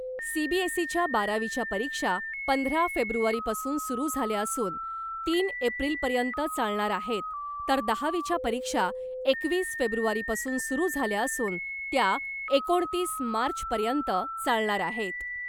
सीबीएसईच्या बारावीच्या परीक्षा पंधरा फेब्रुवारीपासून सुरू झाल्या असून , तीन एप्रिलपर्यंत चालणार आहेत , तर दहावीच्या परीक्षा एकवीस फेब्रुवारीपासून सुरू झाल्या असून , त्या एकोणतीस मार्चपर्यंत चालणार आहेत .